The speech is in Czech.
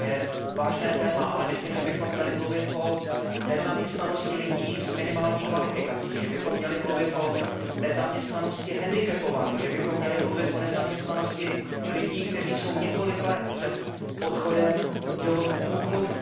To je vážné téma, ale myslím, že bychom měli mluvit o nezaměstnanosti lidí s minimální kvalifikací, že bychom měli mluvit o nezaměstnanosti handicapovaných, že bychom měli mluvit o nezaměstnanosti lidí, kteří jsou několik let před odchodem do důchodu.